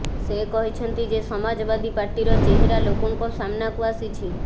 ସେ କହିଛନ୍ତି ଯେ ସମାଜବାଦୀ ପାର୍ଟିର ଚେହେରା ଲୋକଙ୍କ ସାମ୍ନାକୁ ଆସିଛି